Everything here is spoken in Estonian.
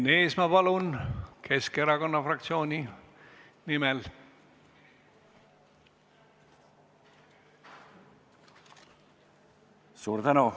Enn Eesmaa Keskerakonna fraktsiooni nimel, palun!